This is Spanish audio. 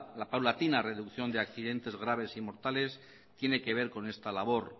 la paulatina reducción de accidentes graves y mortales tiene que ver con esta labor